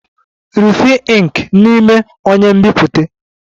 Refill ink n'ime onye nbipute!